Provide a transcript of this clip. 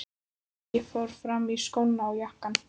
Ég fór fram og í skóna og jakkann.